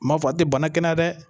M'a fɔ a tɛ bana kɛnɛya dɛ